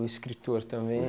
Um escritor também.